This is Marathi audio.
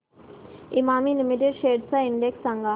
इमामी लिमिटेड शेअर्स चा इंडेक्स सांगा